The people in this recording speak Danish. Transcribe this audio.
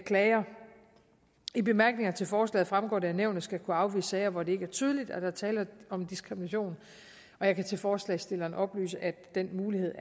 klager i bemærkningerne til forslaget fremgår det at nævnet skal kunne afvise sager hvor det ikke er tydeligt at der er tale om diskrimination og jeg kan til forslagsstillerne oplyse at den mulighed